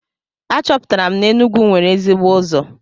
Achọpụtara m na Enugwu nwere ezigbo ụzọ.